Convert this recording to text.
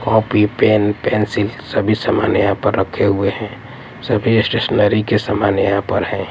Copy pen pencil सभी सामान यहां पर रखे हुए हैं सभी स्टेशनरी के सामान यहां पर हैं।